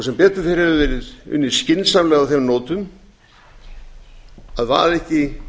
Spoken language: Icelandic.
sem betur fer hefur verið unnið skynsamlega á þeim nótum að vaða ekki